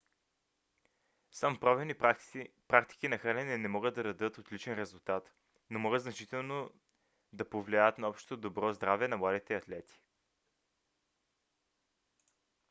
само правилни практики на хранене не могат да дадат отличен резултат но могат значително да повлияят на общото добро здраве на младите атлети